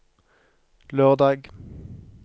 lørdag